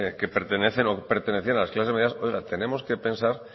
o pertenecían a las clases medias oiga tenemos que pensar